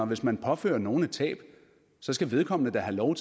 hvis man påfører nogen et tab skal vedkommende da have lov